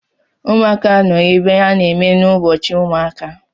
Ụmụaka nọ n’ebe ha na-eme n'Ubọchiụmụaka